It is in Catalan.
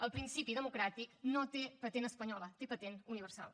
el principi democràtic no té patent espanyola té patent universal